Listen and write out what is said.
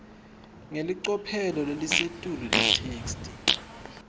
ngelicophelo lelisetulu itheksthi